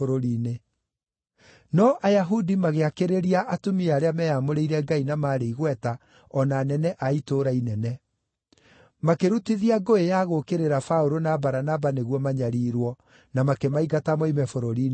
No Ayahudi magĩakĩrĩria atumia arĩa meyamũrĩire Ngai na maarĩ igweta, o na anene a itũũra inene. Makĩrutithia ngũĩ ya gũũkĩrĩra Paũlũ na Baranaba nĩguo manyariirwo, na makĩmaingata moime bũrũri-inĩ wao.